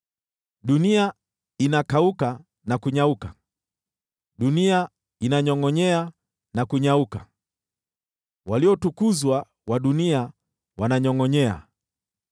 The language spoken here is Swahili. Dunia inakauka na kunyauka, dunia inanyongʼonyea na kunyauka, waliotukuzwa wa dunia wananyongʼonyea.